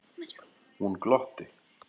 Hún glotti.